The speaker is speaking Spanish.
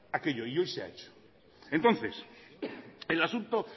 aquello y hoy se ha hecho entonces el asunto